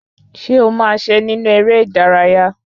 Ṣé ọ máa se nínú eré ìdárayá?